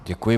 Děkuji.